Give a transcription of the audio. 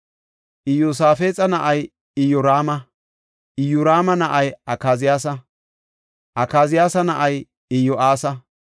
Iyosaafexa na7ay Iyoraama; Iyoraama na7ay Akaziyaasa; Akaziyaasa na7ay Iyo7aasa;